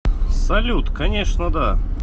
салют конечно да